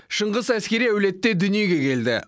шыңғыс әскери әулетте дүниеге келді